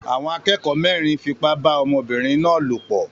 Àwọn akẹ́kọ̀ọ́ mẹ́rin fipá bá ọmọbìnrin náà lòpọ̀